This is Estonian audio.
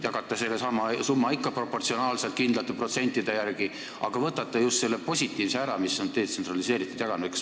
Te jagate sellesama summa ikka proportsionaalselt, kindlate protsentide järgi, aga võtate just selle positiivse, detsentraliseeritud jagamise ära.